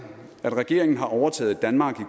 at regeringen har overtaget et danmark